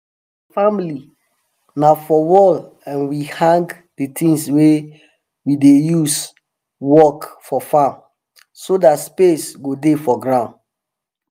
family na for wall um we hang di tins we dey use work for farm so dat space go dey for ground.